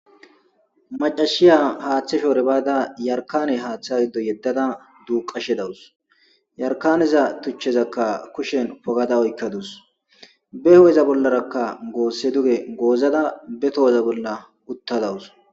Macashiya haaththe shoore baada yarkane haaththa giddo yeddada duuqashe dawus yarkaneza tuchezakka kushen pogada oykkadus be ho7eza bollarakka goosse duge goozada be toheza bolla uttadawus.